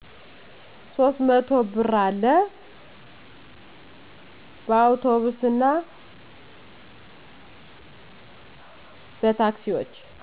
300 ብር አለ በአውቶቡስና በታክሲዎች